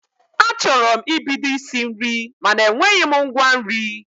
Achọrọ m ibido isi nri mana enweghị m ngwa nri